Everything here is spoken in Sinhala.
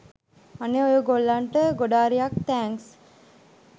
අනේ ඔය ගොල්ලන්ට ගොඩාරියක් තෑන්ක්ස්